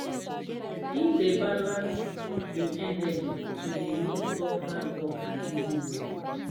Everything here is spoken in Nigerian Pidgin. him dey balans im energy to de mix up hard work and easy work.